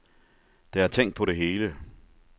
Der er tænkt på det hele.